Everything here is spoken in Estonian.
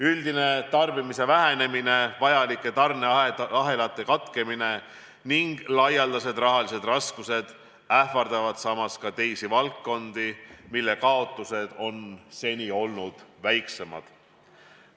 Üldine tarbimise vähenemine, vajalike tarneahelate katkemine ning laialdased rahalised raskused ähvardavad ka teisi valdkondi, mille kaotused on seni olnud väiksemad.